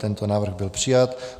Tento návrh byl přijat.